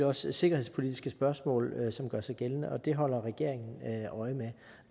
også sikkerhedspolitiske spørgsmål som gør sig gældende og det holder regeringen øje med